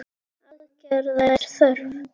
Aðgerða er þörf.